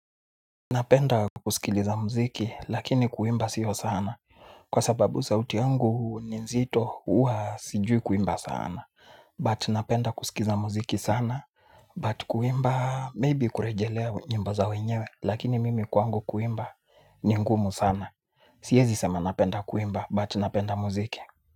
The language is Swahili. Napenda kusikiliza muziki lakini kuimba sio sana kwa sababu sauti angu nzito uwa sijui kuimba sana But napenda kusikiza muziki sana but kuimba maybe kurejelea nyimbo za wenyewe lakini mimi kwangu kuimba ni ngumu sana. Siezi sema napenda kuimba but napenda muziki.